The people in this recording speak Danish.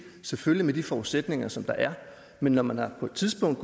selvfølgelig med de forudsætninger som der er men når man på et tidspunkt